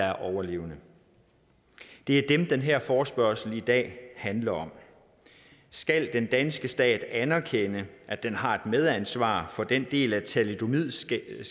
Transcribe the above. er overlevende det er dem den her forespørgsel i dag handler om skal den danske stat anerkende at den har et medansvar for den del af thalidomidskaden